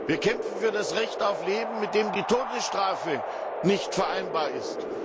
Wir kämpfen für das Recht auf Leben, mit dem die Todesstrafe nicht vereinbar ist.